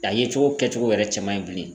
A ye cogo kɛcogo yɛrɛ cɛ man ɲi bilen.